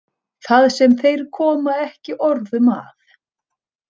Það sem þeir koma ekki orðum að.